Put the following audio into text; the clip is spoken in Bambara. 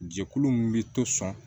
Jɛkulu min bɛ to sɔn